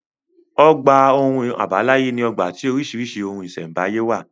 Ọgbà ohun àbáláyé ní ọgbà tí oríṣìíríṣìí ohun ìṣẹ̀m̀báyé wà.